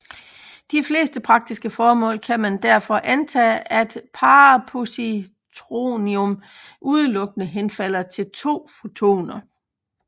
Til de fleste praktiske formål kan man derfor antage at parapositronium udelukkende henfalder til to fotoner